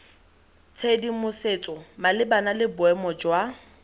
tshedimosetso malebana le boemo jwa